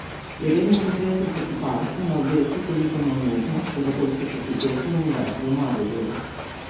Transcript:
Je redni profesor za kiparstvo na oddelku za likovno umetnost Pedagoške fakultete Univerze v Mariboru.